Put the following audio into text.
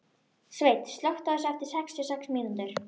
Sveinn, slökktu á þessu eftir sextíu og sex mínútur.